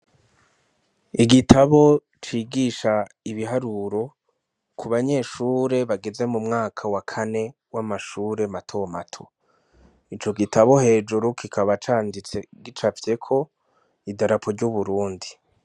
Igitabo cigisha ibiharuro ku banyeshure bageze mu mwaka wa kane w'amashure matomato, ico gitabo hejuru kikaba canditse gicavyeko idarapu ry'uburundi.